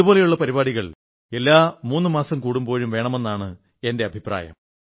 ഇതുപോലുളള പരിപാടികൾ എല്ലാ മൂന്നു മാസം കൂടുമ്പോഴും വേണമെന്നാണ് എന്റെ അഭിപ്രായം